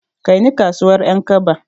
Kaini kasuwar Ƴankaba.